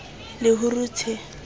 lehurutshe